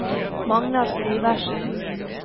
Magnar Syversen